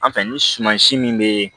An fɛ ni suman si min bɛ